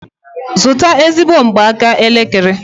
Zụta ezigbo mgbaaka elekere!